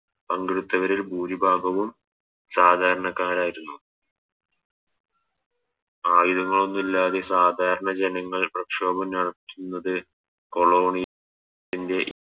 പങ്കെടുത്തവരിൽ ഭൂരിഭാഗവും സാധാരണക്കാരായിരുന്നു ആയുധങ്ങൾഒന്നു ഇല്ലാതെ സാധാരണ ജനങ്ങൾ പ്രക്ഷോഭം നടത്തുന്നത് കൊളോണിയ ത്തിൻറെ